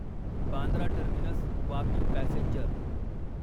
Bandra terminus Vapi passenger